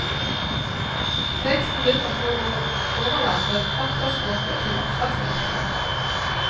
Teksten vinner på å overlate faktaspråket til oppslagsverkene.